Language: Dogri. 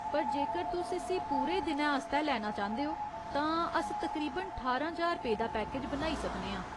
पर जेकर तुस इस्सी पूरे दिनै आस्तै लैना चांह्दे ओ तां अस तकरीबन ठारां ज्हार रुपेऽ दा पैकेज बनाई सकने आं।